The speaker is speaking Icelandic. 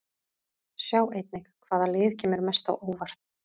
Sjá einnig: Hvaða lið kemur mest á óvart?